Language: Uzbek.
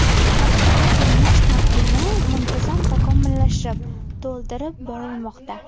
Hozirda emlash taqvimi muntazam takomillashib, to‘ldirib borilmoqda.